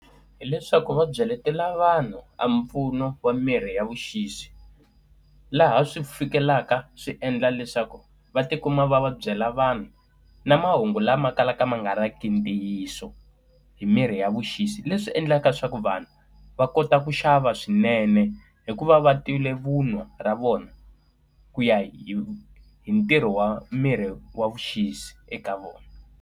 Hileswaku va byeletela vanhu a mpfuno wa mirhi ya vuxisi, laha swi fikelaka swi endla leswaku va ti kuma va va byela vanhu na mahungu lama kalaka ma nga ri ki ntiyiso hi mirhi ya vuxisi. Leswi endlaka leswaku vanhu va kota ku xava swinene hikuva va tivile vunwa ra vona, ku ya hi hi ntirho wa miri wa vuxisi eka vona.